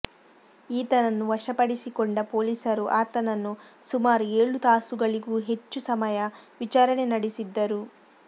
ಈತನನ್ನು ವಶಪಡಿಸಿಕೊಂಡ ಪೊಲೀಸರು ಆತನನ್ನು ಸುಮಾರು ಏಳು ತಾಸುಗಳಿಗೂ ಹೆಚ್ಚು ಸಮಯ ವಿಚಾರಣೆ ನಡೆಸಿದ್ದರು